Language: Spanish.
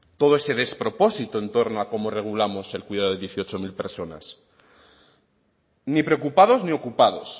todo ese despropósito en torno a cómo regulamos el cuidado de dieciocho mil personas ni preocupados ni ocupados